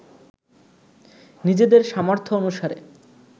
নিজেদের সামর্থ্য অনুসারে